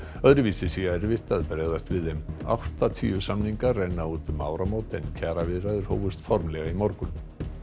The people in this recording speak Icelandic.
öðruvísi sé erfitt að bregðast við þeim áttatíu samningar renna út um áramót en kjaraviðræður hófust formlega í morgun